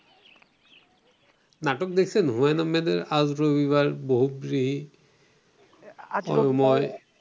নাটক দেখছেন? হুমায়ূন আহমেদের আজ রবিবার, বহুব্রীহি,